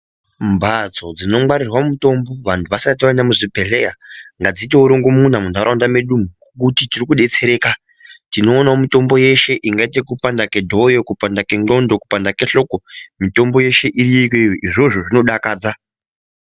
Mbatso dzinongwarirwa mutombo vantu vasati vaenda kuzvibhedhleyangadziitewo rongomuna muntaraunda med umwu ngokuti tirikudetsereka. Tinoonawo mitombo yeshe ingaite yekupanda kwedhoyo, kupanda kwendxondo, kupanda kwehloko. Mitombo yeshe iriyo iyoyo, izvozvo zvinodakadza.